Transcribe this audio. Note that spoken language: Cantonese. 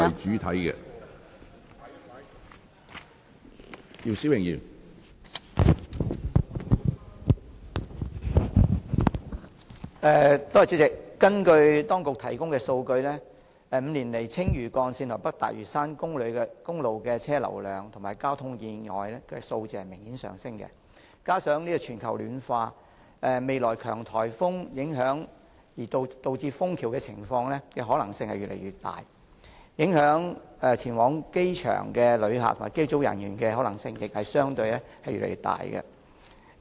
主席，根據當局提供的數據 ，5 年來，青嶼幹線及北大嶼山公路的車輛流量及交通意外的數字明顯上升，加上全球暖化，未來強颱風影響而導致封橋的可能性越來越大，影響前往機場的旅客及機組人員的可能性，亦相對越來越大。